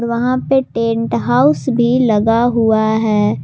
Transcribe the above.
वहां पे tent house भी लगा हुआ है।